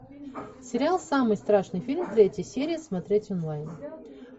сериал самый страшный фильм третья серия смотреть онлайн